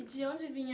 E de onde vinha...